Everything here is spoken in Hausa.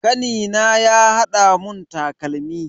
Kanina ya hada mun takalmi.